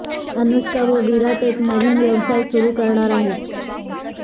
अनुष्का व विराट एक नवीन व्यवसाय सुरु करणार आहेत